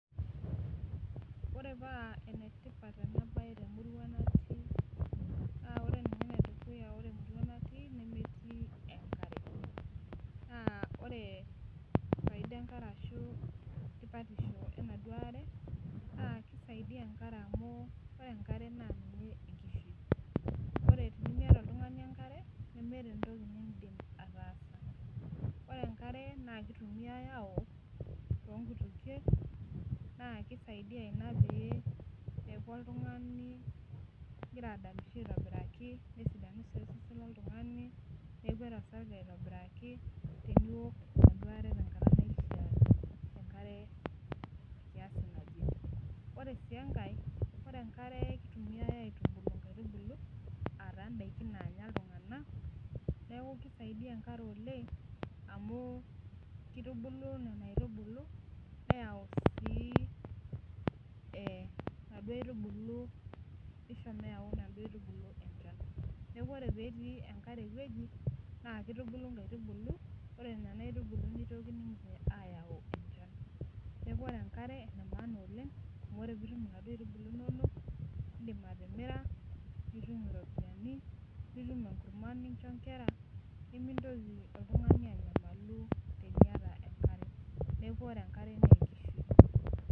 Ore paa enetipat ena baye temurua natii naa ore ninye edukuya ore emurua natii nemetii enkare naa ore faida enkare ashu tipatisho enaduo are naa kisaidia enkare amu ore enkare naa ninye enkishui ore tinimiata oltung'ani enkare nemeeta entoki nindim ataasa ore enkare naa kitumiae awok tonkutukie naa kisaidia ina pee eeku oltung'ani igira adamisho aitobiraki nesidanu sii osesen loltung'ani nekwet osarge aitobiraki teniwok enaduo are tenkata naishia enkare kiasi naje ore sii enkae ore enkare kitumiae aitubulu inkaitubulu ataa indaiki naanya iltung'anak neeku kisaidia enkare oleng amu kitubulu nena aitubulu neyau sii eh inaduo aitubulu nisho meyau inaduo aitubulu enchan neku ore petii enkare ewueji naa kitubulu inkaitubulu ore nana aitubulu nitoki ninche ayau enchan neku ore enkare ene maana oleng amu ore piitum inaduo aitubulu inonok indim atimira nitum iropiyiani nitum enkurma nincho inkera nimintoki oltung'ani anyamalu teniata enkare neku ore enkare nenkishui.